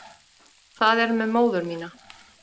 Það er með móður mína.